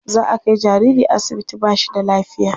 Za a kai jariri asibiti ba shi da lafiya.